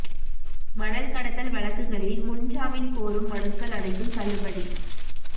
மணல் கடத்தல் வழக்குகளில் முன்ஜாமீன் கோரும் மனுக்கள் அனைத்தும் தள்ளுபடி